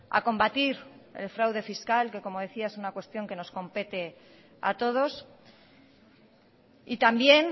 a combatir el fraude fiscal que como decía es una cuestión que nos compete a todos y también